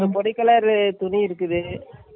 ஒரு பொடி color துணி இருக்குது.